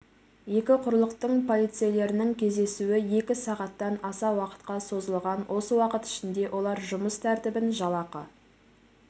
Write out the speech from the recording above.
екі құрлықтың полицейлерінің кездесуі екі сағаттан аса уақытқа созылған осы уақыт ішінде олар жұмыс тәртібін жалақы